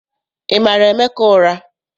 Ị mara Emeka ụra?